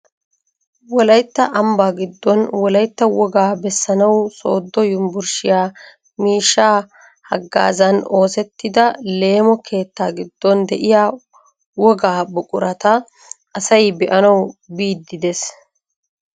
wolaytta ambbaa giddon wolaytta wogaa bessanwu sooddo yunburushiyaa miishshaa haggaazan oosettida leemo keettaa giddon de'iyaa wogaa buqurata asay be'anawu biidi de'ees.